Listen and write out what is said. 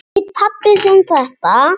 Veit pabbi þinn þetta?